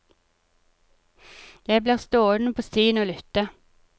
Jeg blir stående på stien og lytte.